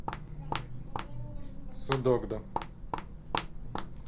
судогда